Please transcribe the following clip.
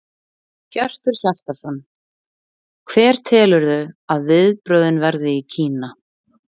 Hjörtur Hjartarson: Hver telurðu að viðbrögðin verði í Kína?